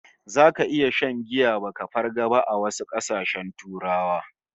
Zaka iya shan giya baka farga ba a wasu kasashen Turawa